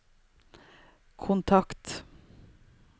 kontakt